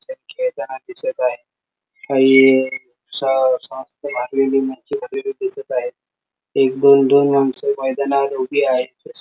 काही जण खेळताना दिसत आहेत काही दिसत आहेत एक दोन दोन माणसं मैदानावर उभी आहेत.